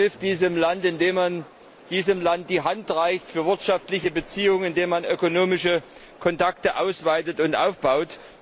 Man hilft diesem Land, indem man ihm die Hand reicht für wirtschaftliche Beziehungen, indem man ökonomische Kontakte ausweitet und aufbaut.